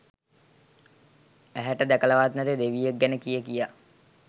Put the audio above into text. ඇහැට දැකලවත් නැති දෙවියෙක් ගැන කියකියා